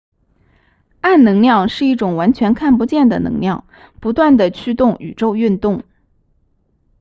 暗能量是一种完全看不见的能量不断地驱动宇宙运动